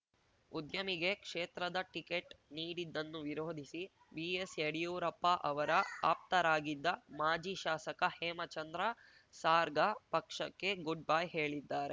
ಉದ್ಯಮಿಗೆ ಕ್ಷೇತ್ರದ ಟಿಕೆಟ್‌ ನೀಡಿದ್ದನ್ನು ವಿರೋಧಿಸಿ ಬಿಎಸ್‌ ಯಡಿಯೂರಪ್ಪ ಅವರ ಆಪ್ತರಾಗಿದ್ದ ಮಾಜಿ ಶಾಸಕ ಹೇಮಚಂದ್ರ ಸಾರ್ಗಾ ಪಕ್ಷಕ್ಕೆ ಗುಡ್‌ ಬೈ ಹೇಳಿದ್ದಾರೆ